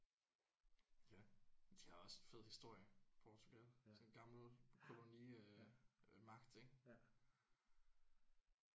Ja de har også en fed historie Portugal. Sådan en gammel kolonimagt ik?